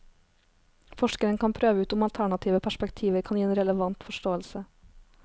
Forskeren kan prøve ut om alternative perspektiver kan gi en relevant forståelse.